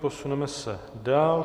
Posuneme se dál.